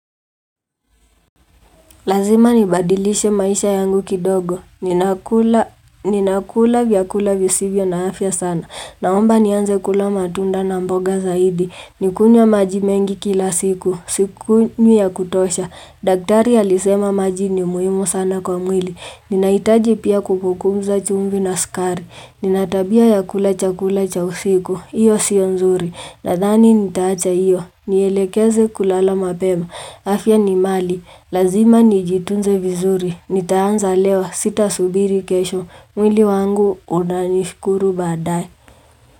Lazima nibadilishe maisha yangu kidogo. Ninakula vyakula visivyo na afya sana. Naomba nianze kula matunda na mboga zaidi. Nikunywe maji mengi kila siku. Sikunywi ya kutosha. Daktari alisema maji ni muhimu sana kwa mwili. Ninahitaji pia kupunguza chumvi na sukari. Nina tabia ya kula chakula cha usiku. Hiyo sio nzuri. Nadhani nitaacha hiyo. Nielekeze kulala mapema. Afya ni mali. Lazima nijitunze vizuri, nitaanza leo sitasubiri kesho, mwili wangu unanishukuru baadae.